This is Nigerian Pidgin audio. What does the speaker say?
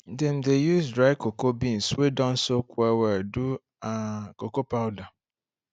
dem dey use dry cocoa beans wey don soak well well do um cocoa powder